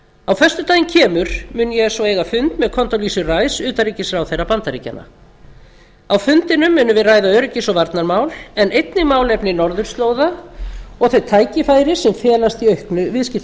á föstudaginn kemur mun ég eiga fund með condoleezzu rice utanríkisráðherra bandaríkjanna á fundinum munum við ræða öryggis og varnarmál en einnig málefni norðurslóða og þau tækifæri sem felast í auknu